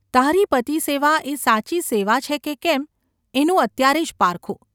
તારી પતિસેવા એ સાચી સેવા છે કે કેમ એનું અત્યારે જ પારખું.